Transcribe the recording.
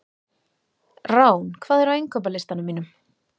Rán, hvað er á innkaupalistanum mínum?